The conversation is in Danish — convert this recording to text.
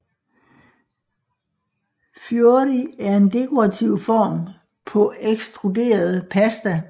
Fiori er en dekorativ form på ekstruderet pasta